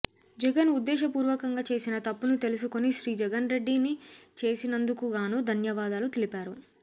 జగన్ ఉద్దేశపూర్వకంగా చేసిన తప్పుని తెలుసుకొని శ్రీ జగన్ రెడ్డి ని చేసినందుకుగాను ధన్యవాదాలు తెలిపారు